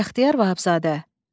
Bəxtiyar Vahabzadə.